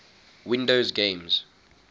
windows games